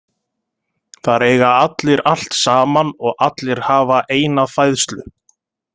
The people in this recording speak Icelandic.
Þar eiga allir allt saman og allir hafa eina fæðslu.